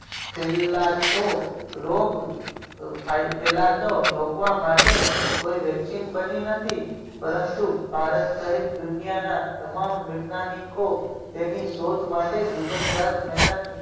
છેલ્લા તો રોગ ફેલાતો રોકવા માટે કોઈ vaccine બની નથી. પરંતુ ભારત સહિત દુનિયાના તમામ વિજ્ઞાનીકો તેની શોધ માટે દિવસ રાત મહેનત